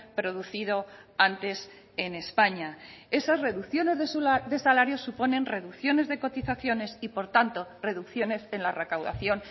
producido antes en españa esas reducciones de salarios suponen reducciones de cotizaciones y por tanto reducciones en la recaudación